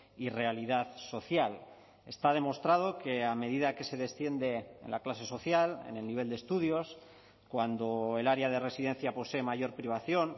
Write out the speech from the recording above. y realidad social está demostrado que a medida que se desciende en la clase social en el nivel de estudios cuando el área de residencia posee mayor privación